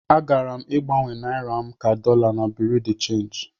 Agara m gbanwe naira ka dollar na bureau de change.